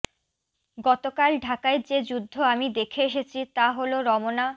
গতকাল ঢাকায় যে যুদ্ধ আমি দেখে এসেছি তা হলো রমনা